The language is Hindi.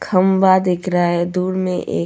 खंबा देख रहा है दूर में.